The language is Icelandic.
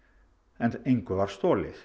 en engu var stolið